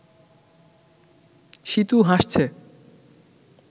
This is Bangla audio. সীতু হাসছে